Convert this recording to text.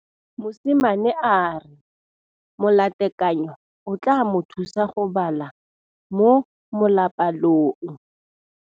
Mosimane a re molatekanyô o tla mo thusa go bala mo molapalong.